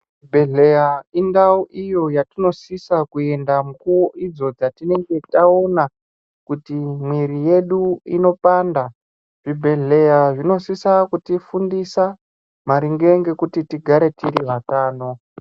Chibhedhleya indau iyo yatinosisa kuenda mukuvo idzo dzatinenge taona kuti mwiri yedu inopanda. Zvibhedhleya zvinosisa kutifundisa maringe ngekuti tigare tiri vatano.